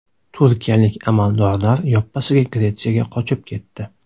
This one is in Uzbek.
Turkiyalik amaldorlar yoppasiga Gretsiyaga qochib ketdi.